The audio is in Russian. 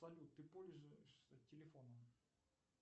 салют ты пользуешься телефоном